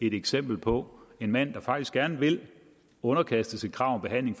et eksempel på en mand der faktisk gerne vil underkastes et krav om behandling